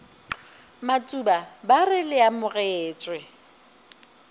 matuba ba re le amogetšwe